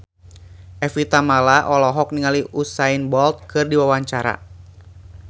Evie Tamala olohok ningali Usain Bolt keur diwawancara